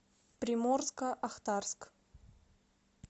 приморско ахтарск